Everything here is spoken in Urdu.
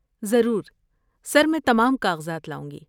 ضرور، سر! میں تمام کاغذات لاؤں گی۔